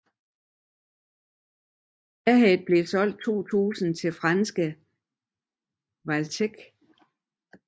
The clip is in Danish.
Ahead blev solgt 2000 til franske Valtech